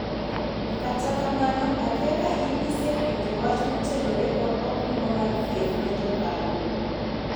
Kata kamano akia ka in isewinjo wach motenore kod okumba mar thieth ne jokanyo